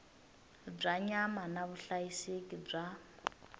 bya nyama na vuhlayiseki bya